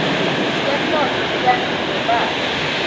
temnotfo tiyandlondlobala